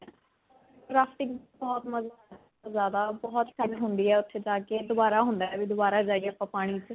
rafting ਬਹੁਤ ਮਨ ਜਿਆਦਾ ਬਹੁਤ ਹੁੰਦੀ ਹੈ. ਉੱਥੇ ਜਾ ਕੇ ਦੋਬਾਰਾ ਹੁੰਦਾ ਹੈ ਬਈ ਦੋਬਾਰਾ ਜਾਇਏ ਆਪਾਂ ਪਾਣੀ 'ਚ.